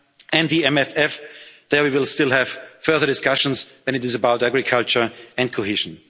Corona time. And the MFF there we will still have further discussions, and it is about agriculture